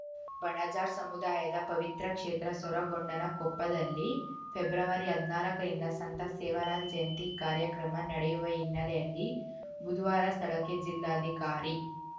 ಬಣಜಾರ್‌ ಸಮುದಾಯದ ಪವಿತ್ರ ಕ್ಷೇತ್ರ ಸೊರಗೊಂಡನಕೊಪ್ಪದಲ್ಲಿ ಫೆಬ್ರವರಿ ಹದ್ನಾಲ್ಕರಿಂದ ಸಂತ ಸೇವಾಲಾಲ್‌ ಜಯಂತಿ ಕಾರ್ಯಕ್ರಮ ನಡೆಯುವ ಹಿನ್ನೆಲೆಯಲ್ಲಿ ಬುದುವಾರ ಸ್ಥಳಕ್ಕೆ ಜಿಲ್ಲಾಧಿಕಾರಿ